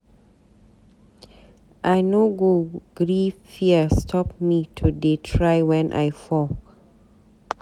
I no go gree fear stop me to dey try wen I fall.